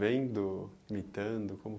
Vendo, imitando? Como